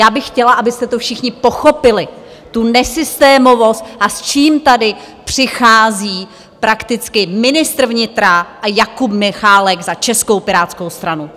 Já bych chtěla, abyste to všichni pochopili, tu nesystémovost, a s čím tady přichází prakticky ministr vnitra a Jakub Michálek za Českou pirátskou stranu.